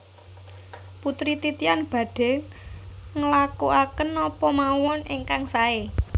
Putri Titian badhe nglakuaken napa mawon ingkang sae